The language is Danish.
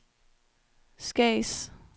Skads